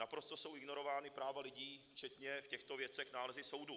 Naprosto jsou ignorována práva lidí, včetně v těchto věcech nálezů soudů.